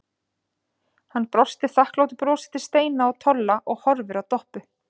Hann brosir þakklátu brosi til Steina og Tolla og horfir á Doppu.